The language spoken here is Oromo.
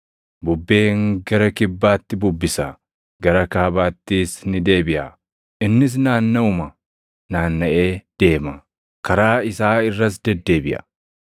Bubbeen gara kibbaatti bubbisa; gara kaabaattis ni deebiʼa; innis naannaʼuma naannaʼee deema; karaa isaa irras deddeebiʼa.